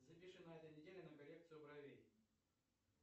запиши на этой неделе на коррекцию бровей